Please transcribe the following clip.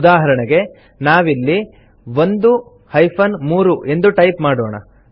ಉದಾಹರಣೆಗೆ ನಾವಿಲ್ಲಿ 1 3 ಎಂದು ಟೈಪ್ ಮಾಡೋಣ